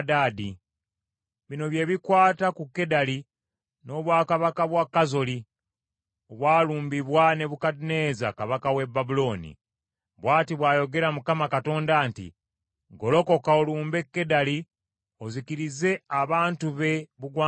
Bino bye bikwata ku Kedali n’obwakabaka bwa Kazoli, obwalumbibwa Nebukadduneeza kabaka w’e Babulooni. Bw’ati bw’ayogera Mukama Katonda nti, “Golokoka, olumbe Kedali ozikirize abantu be bugwanjuba.